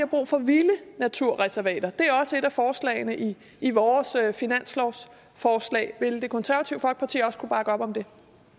brug for vilde naturreservater er også et af forslagene i i vores finanslovsforslag ville det konservative folkeparti også kunne bakker op om det